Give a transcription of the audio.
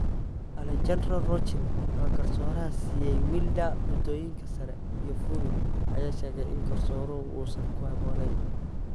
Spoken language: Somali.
Alejandro Rochin waa garsooraha siiyay Wilder buundooyinka sare iyo Fury ayaa sheegay in garsooruhu uusan ku haboonayn.